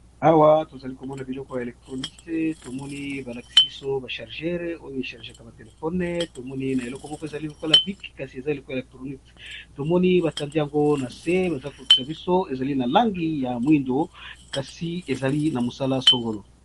Awa tozalikomona biloko ya électronique tomoni balakisi biso ba charges oyo echargaka ba téléphone tomoni elokomo eza lokola tourne visé tomoni batandi yango nase ezali na langi ya moyindo kasi ezali na mosala songolo.